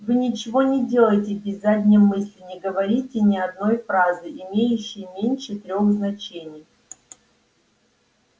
вы ничего не делаете без задней мысли не говорите ни одной фразы имеющей меньше трёх значений